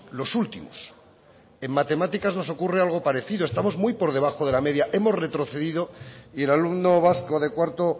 los últimos en matemáticas nos ocurre algo parecido estamos muy por debajo de la media hemos retrocedido y el alumno vasco de cuarto